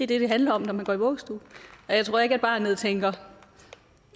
det det handler om når man går i vuggestue jeg tror ikke at barnet tænker